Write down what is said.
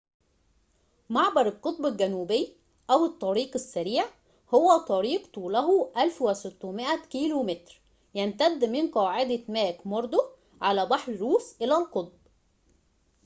معبر القطب الجنوبي أو الطريق السريع هو طريق طوله 1600 كم، يمتد من قاعدة ماك موردو، على بحر روس، إلى القطب